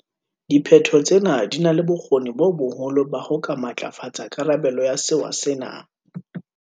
Diphetho tsena di na le bokgoni bo boholo ba ho ka matlafatsa karabelo ya sewa sena.